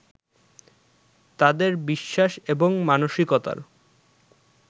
তাঁদের বিশ্বাস এবং মানসিকতার